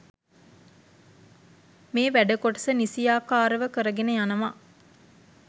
මේ වැඩ කොටස නිසියාකාරව කරගෙන යනවා